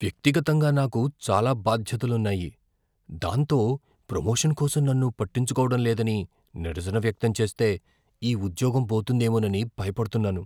వ్యక్తిగతంగా నాకు చాలా బాధ్యతలున్నాయి, దాంతో ప్రమోషన్ కోసం నన్ను పట్టించుకోవడం లేదని నిరసన వ్యక్తం చేస్తే ఈ ఉద్యోగం పోతుందేమోనని భయపడుతున్నాను.